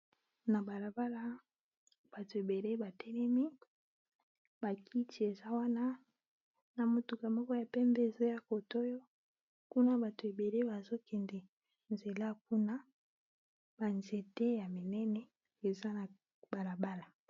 Na balabala, bato ebele batelemi, bakiti eza wana ! na motuka moko ya pembe ezoya kote oyo kuna bato ebele bazokende nzela kuna ! ba nzete ya minene, eza na balabala.